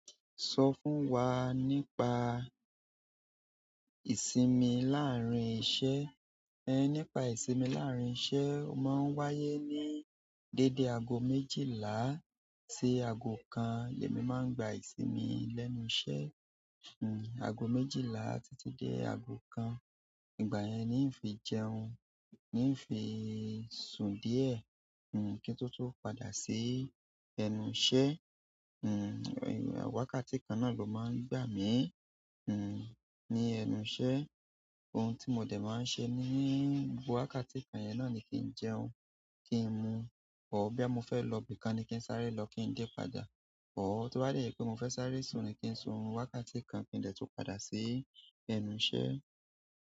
Sọ fún wa nípa ìsinmi láàárín iṣẹ́. Ẹ nípa ìsinmi láàárín iṣẹ́, ó máa ń wáyé ní dédé ago méjìlá sí ago kan ni èmi máa ń gba ìsinmi lẹ́nu iṣẹ́. Hmm, ago méjìlá títí dé ago kan, ìgbà yẹn ni n fi jẹun, ni n fi sùn díẹ̀. Hmm, kí n tó tó padà sí ẹnu iṣẹ́. Hmm, wákàtí kan náà ló máa ń gbà mí. Hmm, ní ẹnu iṣẹ́, ohun tí mo dẹ̀ máa ń ṣe ní gbogbo wákàtí kan yẹn náà ni kí n jẹun, kí n mu ọ́, bí a mọ fẹ́ lọ ibì kan ni kí n sáré lọ kí n dé padà. Ọ́, tó bá yẹ pé mo fẹ́ sáré sùn ni kí n sun wákàtí kan kí n dẹ̀ tó padà sí ẹnu iṣẹ́.